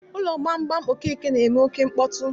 Ụlọ gbamgbam Okeke na-eme oké mkpọtụ